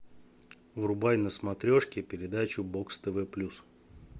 врубай на смотрешке передачу бокс тв плюс